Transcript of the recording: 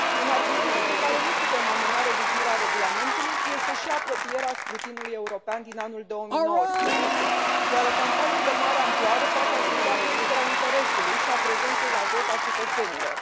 Un argument pentru care nu putem amâna revizuirea regulamentului este și apropierea scrutinului european din anul 2019, iar o campanie de mare amploare poate asigura creșterea interesului și a prezenței la vot a cetățenilor.